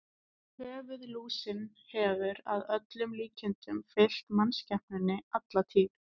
Höfuðlúsin hefur að öllum líkindum fylgt mannskepnunni alla tíð.